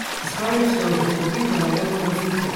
Isbinaajka wuxuu kordhin karaa dhadhanka fuudka.